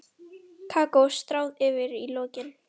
Kakó stráð yfir í lokin.